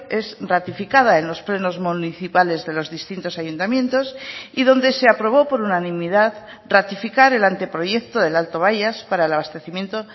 es ratificada en los plenos municipales de los distintos ayuntamientos y donde se aprobó por unanimidad ratificar el anteproyecto del alto bayas para el abastecimiento